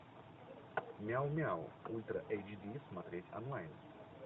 мяу мяу ультра эйч ди смотреть онлайн